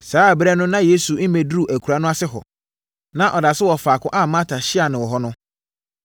Saa ɛberɛ no na Yesu mmɛduruu akuraa no ase hɔ. Na ɔda so wɔ faako a Marta hyiaa no hɔ no.